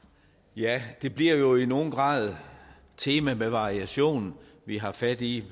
ja det bliver jo i nogen grad tema med variationer vi har fat i